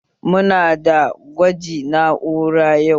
Muna da gwaji na'ura yau